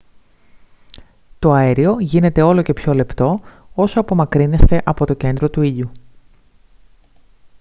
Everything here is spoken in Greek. το αέριο γίνεται όλο και πιο λεπτό όσο απομακρύνεστε από το κέντρο του ήλιου